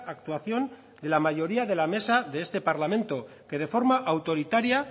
actuación de la mayoría de la mesa de este parlamento que de forma autoritaria